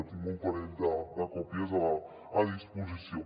en tinc un parell de còpies a disposició